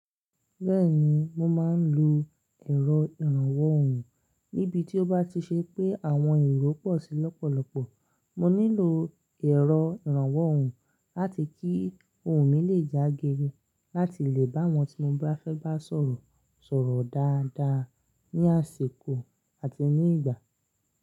Bẹ́ẹ̀ni, mo máa ń lo ẹ̀rọ ìrànwọ́ ohùn. Níbi tí ó bá ti ṣe pé àwọn èrò pọ̀ sí lọ́pọ̀lọpọ̀, mo nílò ẹ̀rọ ìrànwọ́ ohùn láti kí ohùn mi lè já gere láti lè bá àwọn tí mo bá fẹ́ bá sọ̀rọ̀ sọ̀rọ̀ dáadáa ní àsìkò àti ní ìgbà.